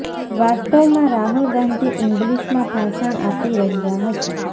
વાસ્તવમાં રાહુલ ગાંધી ઇંગ્લિશમાં ભાષણ આપી રહ્યા હતા